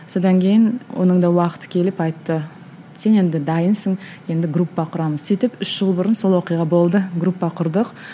содан кейін оның да уақыты келіп айтты сен енді дайынсың енді группа құрамыз сөйтіп үш жыл бұрын сол оқиға болды группа құрдық южбэюю бс